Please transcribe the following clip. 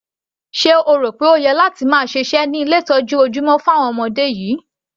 Sé o rò pé o yẹ láti máa ṣiṣẹ́ ní ilé ìtọ́jú ojúmọ́ fún àwọn ọmọdé yìí?